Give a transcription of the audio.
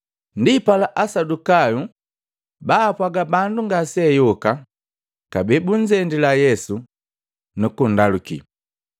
Ndipala Asadukayu baapwaga bandu ngaseayoka kabee bunzendila Yesu, nukunndaluki,